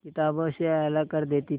किताबों से अलग कर देती थी